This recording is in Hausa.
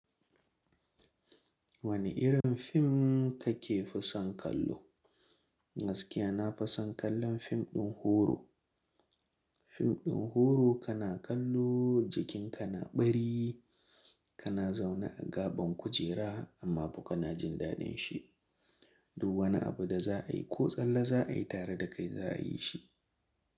Wane irin fim kake fi son kallo? Gaskiya na fi son kallon fim ɗin horo. Fim ɗin horo kana kallo, jikinka na ɓari, kana zaune a gaban kujera amma fa kuna jin daɗin shi. Du wani abu da za a yi ko tsalle za a yi tare da kai za a yi shi.